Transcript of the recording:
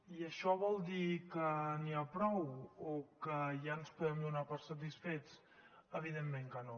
i això vol dir que n’hi ha prou o que ja ens podem donar per satisfets evidentment que no